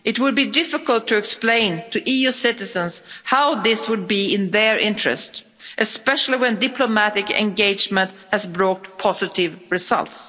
It would be difficult to explain to EU citizens how this were in their interest, especially when diplomatic engagement has brought positive results.